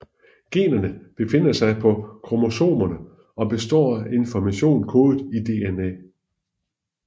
Generne befinder sig på kromosomerne og består af information kodet i DNA